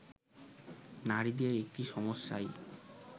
নারীদের একটি সমস্যাই